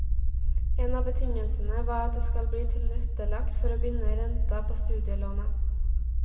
En av betingelsene var at det skal bli tilrettelagt for å binde renta på studielånet.